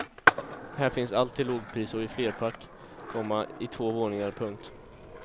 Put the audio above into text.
Här finns allt till lågpris och i flerpack, komma i två våningar. punkt